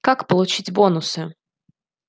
как получить бонусы